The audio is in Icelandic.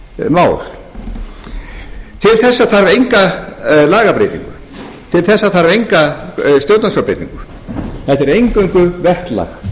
mál til þessa þarf enga lagabreytingu til þessa þarf enga stjórnarskrárbreytingu þetta er eingöngu verklag sem